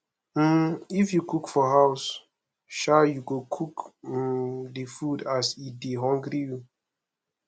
um if you dey cook for house um you go cook um di food as e dey hungry you